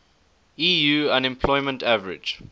eu unemployment average